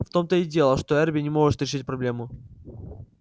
в том-то и дело что эрби не может решить проблему